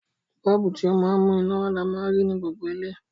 Bọ́ọ̀bù, ti o ma n mú iná wa ni a ma n rí ni gbogbo ilé